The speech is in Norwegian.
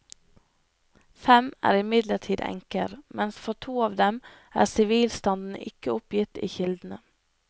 Fem er imidlertid enker, mens for to av dem er sivilstanden ikke oppgitt i kildene.